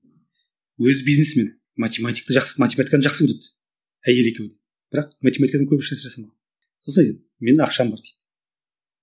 өзі бизнесмен математикті жақсы математиканы жақсы көреді әйелі екеуі бірақ математикадан көп іс жасамаған сосын айтады менің ақшам бар дейді